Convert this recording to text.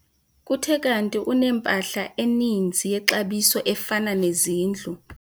Kuthe kanti unempahla eninzi yexabiso efana nezindlu.